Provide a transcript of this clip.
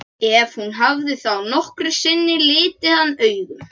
Ef hún hafði þá nokkru sinni litið hann augum.